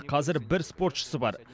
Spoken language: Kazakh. қазір бір спортшысы бар